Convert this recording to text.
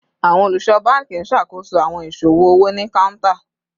Awọn oluso banki n ṣakoso awọn iṣowo owo ni counter